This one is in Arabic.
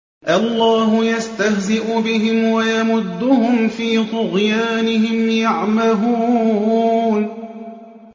اللَّهُ يَسْتَهْزِئُ بِهِمْ وَيَمُدُّهُمْ فِي طُغْيَانِهِمْ يَعْمَهُونَ